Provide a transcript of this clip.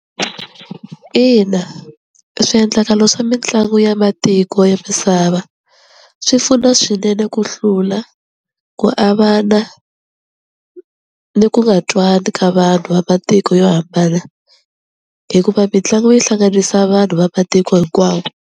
Ina swiendlakalo swa mitlangu ya matiko ya misava swi pfuna swinene ku hlula ku avana ni ku nga twani ka vanhu va matiko yo hambana hikuva mitlangu yi hlanganisa vanhu va matiko hinkwawo.